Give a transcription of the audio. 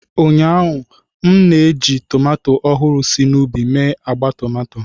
Ụnyaahụ, m na-eji tomato ọhụrụ si n'ubi mee agba tomato.